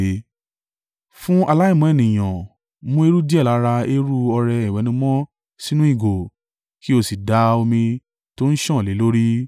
“Fún aláìmọ́ ènìyàn, mú eérú díẹ̀ lára eérú ọrẹ ìwẹ̀nùmọ́ sínú ìgò, kí o sì da omi tó ń sàn lé e lórí.